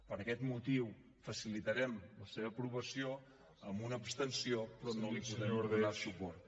per aquest motiu facilitarem la seva aprovació amb una abstenció però no hi podrem donar suport